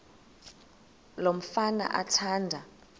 lo mfana athanda